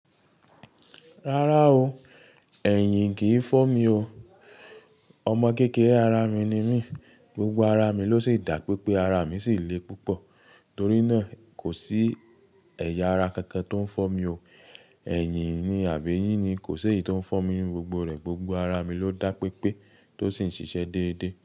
Rárá o, ẹ̀yìn kìí fọ́ mi o. Ọmọ kékeré ara mi ni mí, gbogbo ara mi ló sì dá pé pé ara mi sì le púpọ̀, torí náà kò sí ẹ̀yà ara kankan tó ń fọ́ mi o. Ẹ̀yìn ni àbí eyín ni kò ṣe èyí tó ń fọ́ mi, gbogbo rẹ̀ gbogbo ara mi ló dá pé pé tó sì ń ṣiṣẹ́ dédé.